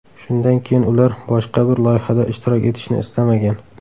Shundan keyin ular boshqa bir loyihada ishtirok etishni istamagan.